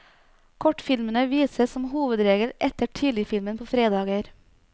Kortfilmene vises som hovedregel etter tidligfilmen på fredager.